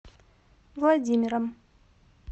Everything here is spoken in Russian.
владимиром